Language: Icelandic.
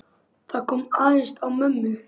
Það kom aðeins á mömmu.